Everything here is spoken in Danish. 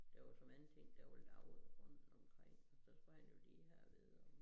Der var for mange ting der var lavet rundt omkring så skulle han jo lige have at vide om